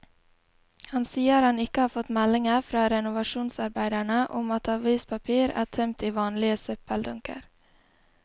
Han sier han ikke har fått meldinger fra renovasjonsarbeiderne om at avispapir er tømt i vanlige søppeldunker.